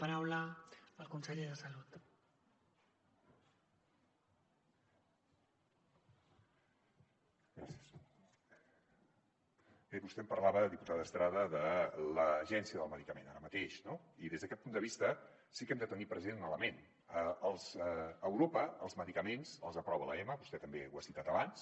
bé vostè em parlava diputada estrada de l’agència del medicament ara mateix no i des d’aquest punt de vista sí que hem de tenir present un element a europa els medicaments els aprova l’ema vostè també ho ha citat abans